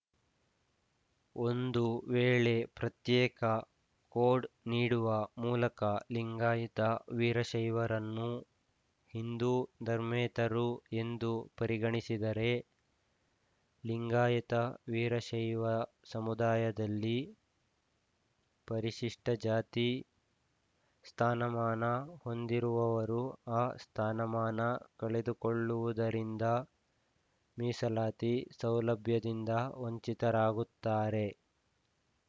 ಒಂದು ವೇಳೆ ಪ್ರತ್ಯೇಕ ಕೋಡ್‌ ನೀಡುವ ಮೂಲಕ ಲಿಂಗಾಯತವೀರಶೈವರನ್ನು ಹಿಂದೂ ಧರ್ಮೇತರರು ಎಂದು ಪರಿಗಣಿಸಿದರೆ ಲಿಂಗಾಯತವೀರಶೈವ ಸಮುದಾಯದಲ್ಲಿ ಪರಿಶಿಷ್ಟಜಾತಿ ಸ್ಥಾನಮಾನ ಹೊಂದಿರುವವರು ಆ ಸ್ಥಾನಮಾನ ಕಳೆದುಕೊಳ್ಳುವುದರಿಂದ ಮೀಸಲಾತಿ ಸೌಲಭ್ಯದಿಂದ ವಂಚಿತರಾಗುತ್ತಾರೆ